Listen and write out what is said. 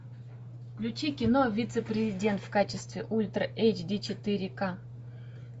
включи кино вице президент в качестве ультра эйч ди четыре ка